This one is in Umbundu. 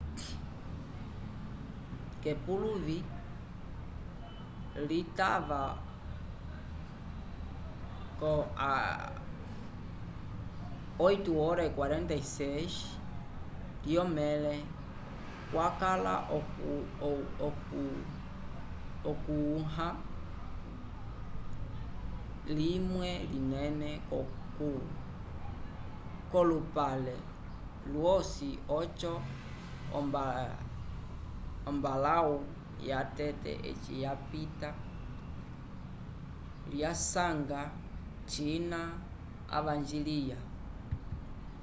k'epuluvi litava 8:46 lyomẽle kwakala okũha limwe linene k'olupale lwosi oco ombalãwu yatete eci lyapita lyasanga cina avanjiliya